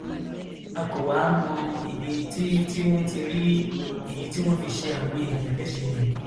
a kò wáá mọ ibi tí tí wọn ti rí èyí tí wọn fi ṣe àwọn èèyàn léṣe yẹn